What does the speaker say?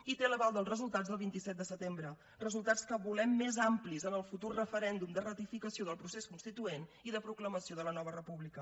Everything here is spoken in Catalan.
i té l’aval dels resultats del vint set de setembre resultats que volem més amplis en el futur referèndum de ratificació del procés constituent i de proclamació de la nova república